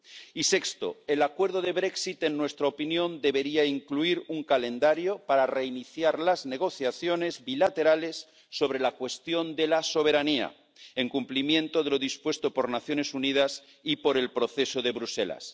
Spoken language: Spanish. Y sexto el acuerdo del Brexit en nuestra opinión, debería incluir un calendario para reiniciar las negociaciones bilaterales sobre la cuestión de la soberanía, en cumplimiento de lo dispuesto por las Naciones Unidas y por el Proceso de Bruselas.